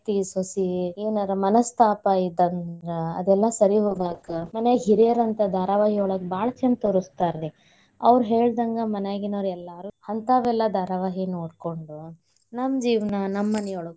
ಅತ್ತಿ ಸೊಸಿ ಏನಾರ ಮನಸ್ತಾಪ ಇದಂದ್ರ ಅದೆಲ್ಲಾ ಸರಿ ಹೋಗ್ಬೇಕ. ಮನ್ಯಾಗ ಹಿರಿಯರಂತ ಧಾರಾವಾಯಿಯೊಳಗ ಭಾಳ್ ಛಂದ್ ತೋರಸ್ತಾರಿ. ಅವ್ರ ಹೇಳ್ದಂಗ ಮನ್ಯಾಗಿನೋರ ಎಲ್ಲಾರು ಹಂತಾವೆಲ್ಲಾ ಧಾರಾವಾಹಿ ನೋಡ್ಕೊಂಡು ನಮ್ಮ ಜೀವ್ನಾ, ನಮ್ಮ ಮನಿಯೊಳಗ್ನ.